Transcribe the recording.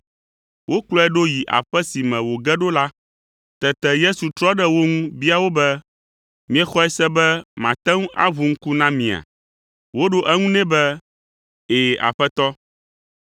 Wokplɔe ɖo yi aƒe si me wòge ɖo la. Tete Yesu trɔ ɖe wo ŋu bia wo be, “Miexɔe se be mate ŋu aʋu ŋku na mia?” Woɖo eŋu nɛ be, “Ɛ̃, Aƒetɔ.”